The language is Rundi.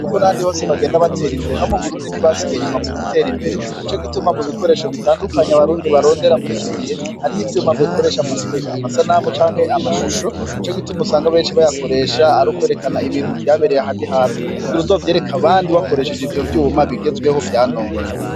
Uko n'abandi bose bagenda batera imbere ni ko no mu Burundi batasigaye inyuma mu gutera imbere. Ni co gituma mu bikoresho bitandukanye abarundi barondera muri iki gihe hariho ivyuma bakoresha mu gukwega amasanamu canke amashusho. Nico gituma usanga benshi bayakoresha ari ukwerekana ibintu vyabereye ahandi hantu kugira uzovyereke abandi ukoreshene ivyo vyuma bigezweho vya none.